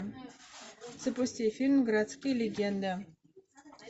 запусти фильм городские легенды